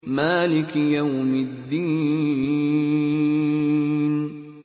مَالِكِ يَوْمِ الدِّينِ